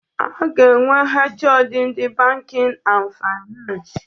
A ga-enwe HoD ndị bankin and finans.